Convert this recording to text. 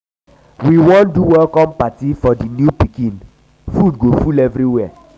we wan do welcome party for di new pikin food go full everywhere.